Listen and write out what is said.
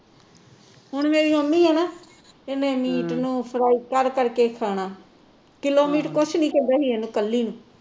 ਹੁਣ ਮੇਰੀ ਮੰਮੀ ਆ ਨਾ ਇਹਨੇ ਮੀਟ ਨੂੰ ਫਰਾਈ ਕਰ ਕਰ ਕੇ ਖਾਣਾ ਕਿਲੋ ਮੀਟ ਕੁਸ਼ ਨਹੀਂ ਕਹਿੰਦਾ ਸੀ ਇਹਨੂੰ ਕੱਲੀ ਨੂੰ